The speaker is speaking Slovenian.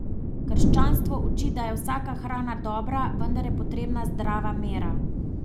Krščanstvo uči, da je vsaka hrana dobra, vendar je potrebna zdrava mera.